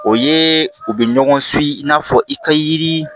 O ye u bɛ ɲɔgɔn suki i n'a fɔ i ka yiri